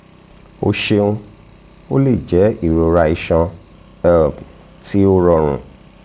o ṣeun o le jẹ irora iṣan um ti o rọrun